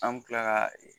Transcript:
An bɛ tila ka